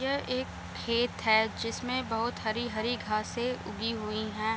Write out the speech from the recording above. यहाँ एक खेत है जिसमें बहोत हरी-हरी घासें उगी हुई हैं ।